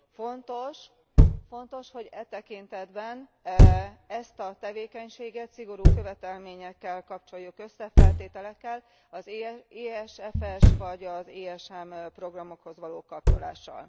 Fontos, hogy e tekintetben ezt a tevékenységet szigorú követelményekkel kapcsoljuk össze, feltételekkel, az ESFS vagy az ESM programokhoz való kapcsolással.